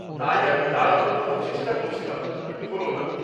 তাই আমি তাড়াহুড়ো করার চেষ্টা করছিলাম, কিন্তু হল না।